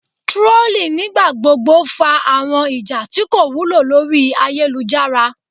Trolling nigbagbogbo fa awọn ija ti ko wulo lori ayelujara